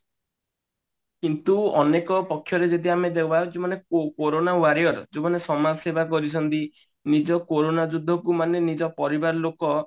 କିନ୍ତୁ ଅନେକ ପକ୍ଷରେ ଯଦି ଆମ ଦେବା ଯେ ମାନେ କୋରୋନା warrior ଯୋଉମାନେ ସମାଜସେବା କରିଛନ୍ତି ନିଜ କୋରୋନା ଯୁଦ୍ଧ କୁ ମାନେ ନିଜ ପରିବାର ଲୋକ